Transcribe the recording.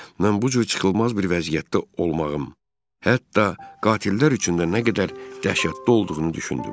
Mən bu cür çıxılmaz bir vəziyyətdə olmağım hətta qatillər üçün də nə qədər dəhşətli olduğunu düşündüm.